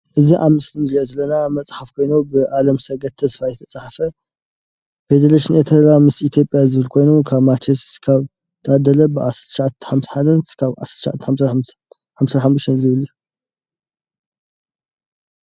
እዚ ኣብ ምስሊ እንሪኦ ዘለና መፅሓፍ ኮይኑ ብ ኣለምሰገድ ተስፋይ ዝተፅሓፈ ፌዴሬሽን ኤርትራ ምስ ኢትዩጵያ ዝብል ኮይኑ ካብ ማቴዎስ ክሳብ ታደለ 1951-1955 ዝብል እዩ።